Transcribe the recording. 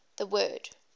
the word